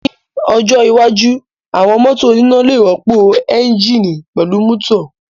Ní ọjọ́ iwájú, àwọn mọ́tò oníná lè rọ́pò ẹ́ńjíìnì pẹ̀lú mútọ̀